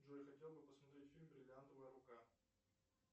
джой хотел бы посмотреть фильм бриллиантовая рука